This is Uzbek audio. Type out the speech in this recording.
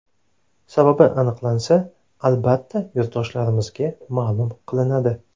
Sababi aniqlansa, albatta yurtdoshlarimizga ma’lum qilinadi.